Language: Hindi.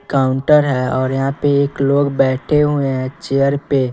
काउंटर है और यहां पे एक लोग बैठे हुए हैं चेयर पे--